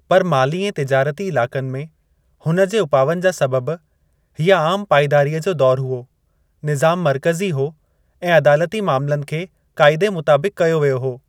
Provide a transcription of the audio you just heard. पर माली ऐं तिजारती इलाक़नि में हुन जे उपावनि जा सबबि, हीअ आम पाइदारीअ जो दौरु हुओ ; निज़ामु मर्कज़ी हो ऐं अदालती मामलनि खे क़ाइदे मुताबिक़ु कयो वियो हो।